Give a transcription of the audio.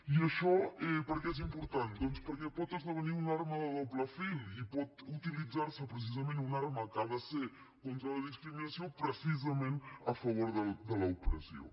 i això per què és important doncs perquè pot esdevenir una arma de doble tall i pot utilitzar se precisament una arma que ha de ser contra la discriminació precisament a favor de l’opressió